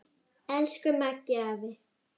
Elsku Maggi afi.